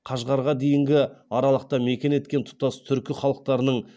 қашғарға дейінгі аралықта мекен еткен тұтас түркі халықтарының